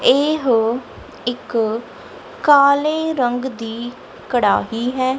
ਇਹੋ ਇੱਕ ਕਾਲੇ ਰੰਗ ਦੀ ਕੜ੍ਹਾਹੀ ਐ।